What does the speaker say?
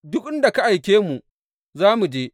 Duk inda kuma ka aike mu, za mu je.